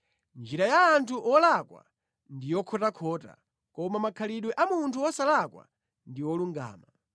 Njira ya munthu wolakwa ndi yokhotakhota, koma makhalidwe a munthu wosalakwa ndi olungama.